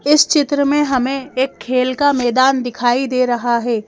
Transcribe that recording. इस चित्र में हमें एक खेल का मैदान दिखाई दे रहा है।